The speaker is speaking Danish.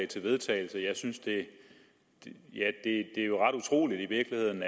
til vedtagelse det er i virkeligheden